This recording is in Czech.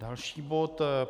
Další bod.